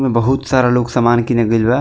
ऐमे बहुत सारा लोग सामान किने गइल बा।